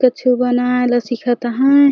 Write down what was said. कछु बनाए ला सीखत है।